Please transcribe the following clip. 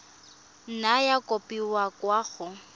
nna ya kopiwa kwa go